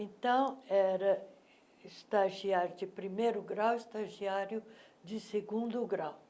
Então, era estagiário de primeiro grau, estagiário de segundo grau.